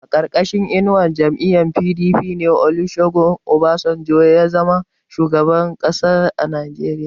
A ƙarƙashin inuwar jam'iyyar PDP ne Olusegun Obasanjo ya zama shugaban ƙasar Najeriya.